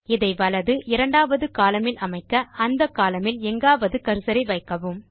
இதை வலது இரண்டாவது columnஇல் அமைக்க அந்த கோலம்ன் இல் எங்காவது கர்சரை வைக்கவும்